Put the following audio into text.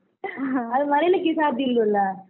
ಅದು ಮರಿಲಿಕ್ಕೆ ಸಾಧ್ಯ ಇಲ್ವಲ್ಲ.